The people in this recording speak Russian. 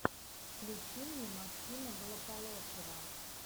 включи мне максима голополосова